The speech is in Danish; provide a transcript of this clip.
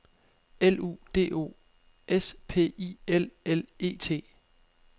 L U D O S P I L L E T